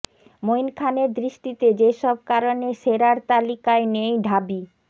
মঈন খানের দৃষ্টিতে যেসব কারণে সেরার তালিকায় নেই ঢাবি